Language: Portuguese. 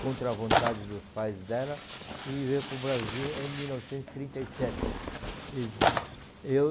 contra a vontade dos pais dela e veio para o Brasil em mil novecentos e trinta e sete. Eu